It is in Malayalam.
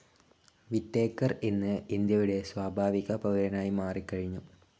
വിറ്റേക്കർ ഇന്ന് ഇന്ത്യയുടെ സ്വാഭാവിക പൗരനായിമാറിക്കഴിഞ്ഞു.